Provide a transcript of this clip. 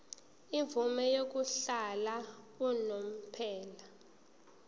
imvume yokuhlala unomphela